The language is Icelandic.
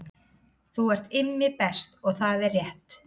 Þú ert Immi Best og það er rétt